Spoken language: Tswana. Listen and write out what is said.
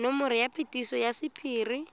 nomoro ya phetiso ya sephiri